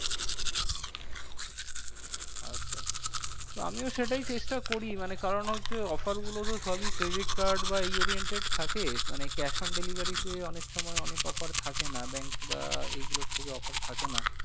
আচ্ছা তো আমিও সেটাই চেষ্টা করি মানে কারণ হচ্ছে offer গুলো তো সবই credit card বা এই oriented থাকে মানে cash on delivery তে অনেক সময় অনেক offer থাকে না bank বা এই গুলোর থেকে offer থাকে না।